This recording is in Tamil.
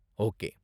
ஓகே.